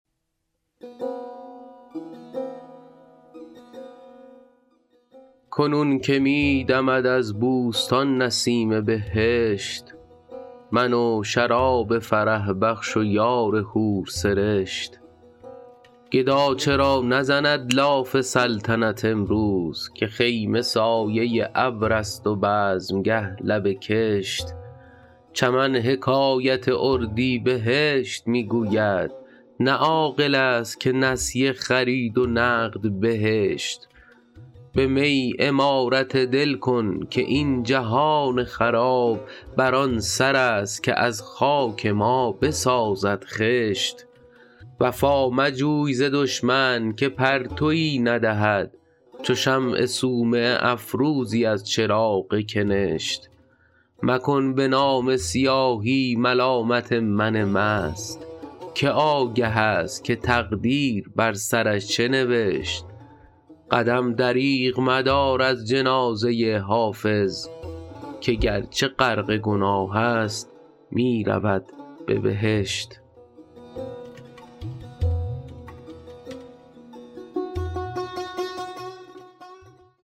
کنون که می دمد از بوستان نسیم بهشت من و شراب فرح بخش و یار حورسرشت گدا چرا نزند لاف سلطنت امروز که خیمه سایه ابر است و بزمگه لب کشت چمن حکایت اردیبهشت می گوید نه عاقل است که نسیه خرید و نقد بهشت به می عمارت دل کن که این جهان خراب بر آن سر است که از خاک ما بسازد خشت وفا مجوی ز دشمن که پرتوی ندهد چو شمع صومعه افروزی از چراغ کنشت مکن به نامه سیاهی ملامت من مست که آگه است که تقدیر بر سرش چه نوشت قدم دریغ مدار از جنازه حافظ که گرچه غرق گناه است می رود به بهشت